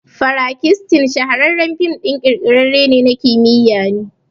Frankistin shahararren film ɗin kirkire na kimiyya ne